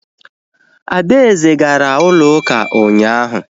Adaeze gara ụlọ ụka ụnyaahụ